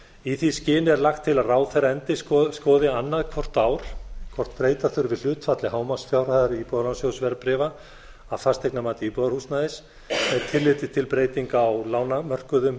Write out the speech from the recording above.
í því skyni er lagt til að nefndin skoði annað hvort ár hvort breyta þurfi hlutfalli hámarksfjárhæðar íbúðalánasjóðs verðbréfa að fasteignamati íbúðarhúsnæðis með tilliti til breytinga á lánamörkuðum